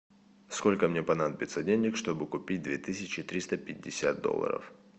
сколько мне понадобится денег чтобы купить две тысячи триста пятьдесят долларов